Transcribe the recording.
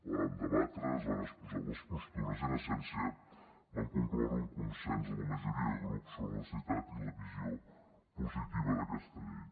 la vam debatre es van exposar les postures i en essència vam concloure un consens de la majoria de grups sobre la necessitat i la visió positiva d’aquesta llei